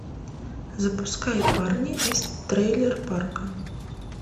запускай парни из трейлер парка